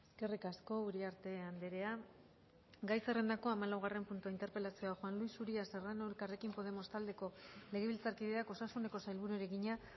eskerrik asko uriarte andrea gai zerrendako hamalaugarren puntua interpelazioa juan luis uria serrano elkarrekin podemos taldeko legebiltzarkideak osasuneko sailburuari egina